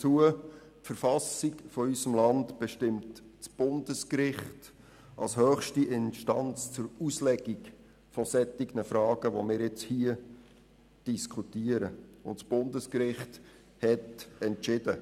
Die Verfassung unseres Landes bestimmt das Bundesgericht als höchste Instanz für die Auslegung solcher Fragen, wie wir sie jetzt diskutieren, und das Bundesgericht hat entschieden.